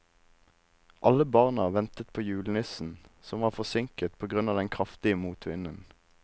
Alle barna ventet på julenissen, som var forsinket på grunn av den kraftige motvinden.